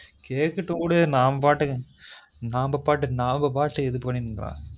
கேக்கட்டும் விடு நாம்ப பாட்டுக்கு நாம்ப பாட்டுக்கு இது பண்ணினு போலான்